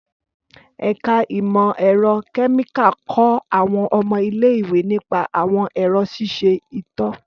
Ẹka imọ-ẹrọ kẹmika kọ awọn ọmọ ile-iwe nipa awọn ẹrọ ṣiṣe ito.